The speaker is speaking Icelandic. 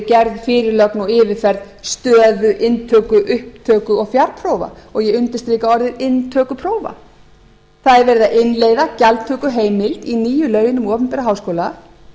gerð fyrirlögn og yfirferð stöðu inntöku upptöku og fjarprófa og ég undirstrika orðið inntökuprófa það er verið að innleiða gjaldtökuheimild í nýju lögin um opinbera háskóla